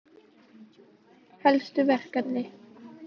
Helstu verkefni:-